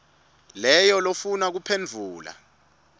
leyo lofuna kuphendvula